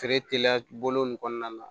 Feere teliya bolo nin kɔnɔna na